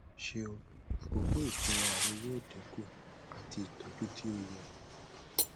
ṣeun akọkọ ifunra rẹ yoo dinku ati itọju ti o yẹ